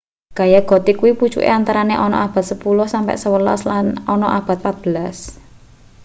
gaya gotik kuwi pucuke antarane ana abad 10 - 11 lan ana abad 14